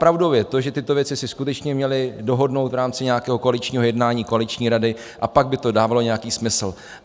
Pravdou je to, že tyto věci si skutečně měli dohodnout v rámci nějakého koaličního jednání, koaliční rady, a pak by to dávalo nějaký smysl.